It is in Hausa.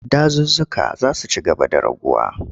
Dazuzzuka za su ci gaba da raguwa.